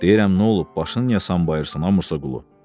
Deyirəm nə olub, başını niyə sambayırsan, a Musa Qulu?